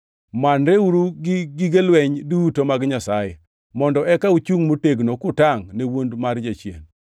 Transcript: Manreuru gi gige lweny duto mag Nyasaye, mondo eka uchungʼ motegno kutangʼ ne wuond mar Jachien.